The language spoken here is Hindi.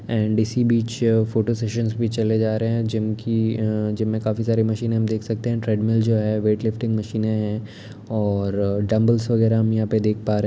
एंड इसी बीच फोटो सेशंस में चले जा रहे हैं जिम की अ जिम में काफी सारे मशीन हम देख सकते हैं ट्रेडमिल जो है वेटलिफ्टिंग मशीने हैं और डंबलस वगैरह हम यहाँं पर देख पा रहे हैं।